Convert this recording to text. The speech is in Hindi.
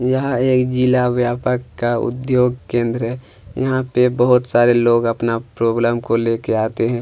यह एक जिला व्यापक का उद्योग केंद्र है यहाँ पे बहुत सारे लोग अपना प्रॉब्लम को लेके आते हैं।